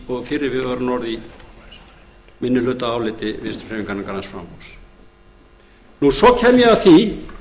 og fyrri viðvörunarorð í minnihlutaáliti vinstri hreyfingarinnar græns framboðs svo kem ég að því